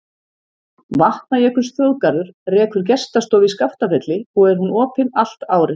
Vatnajökulsþjóðgarður rekur gestastofu í Skaftafelli og er hún opin allt árið.